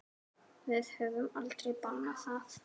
Við höfum aldrei bannað það.